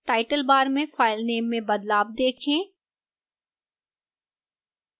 title bar में filename में बदलाव देखें